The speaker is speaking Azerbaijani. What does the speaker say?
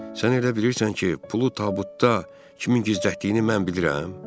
Sən elə bilirsən ki, pulu tabutda kimin gizlətdiyini mən bilirəm?